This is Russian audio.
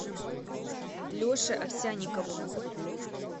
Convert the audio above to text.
леше овсянникову